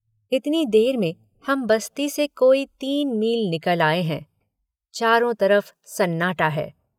इतनी देर में हम बस्ती से कोई तीन मील निकल आए हैं। चारों तरफ़ सन्नाटा है